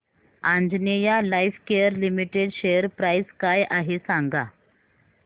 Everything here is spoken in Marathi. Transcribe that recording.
Anjaneya lifecare limited share price काय आहे सांगा